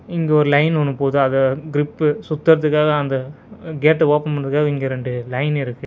இங்க ஒரு லைன் ஒன்னு போது அத கிரிப்பு சுத்துறதுக்காக அந்த கேட்ட ஓபன் பண்றதுக்காக இங்க ரெண்டு லைன் இருக்கு.